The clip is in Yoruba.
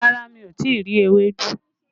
Rárá, mi ò tí ì rí ewédú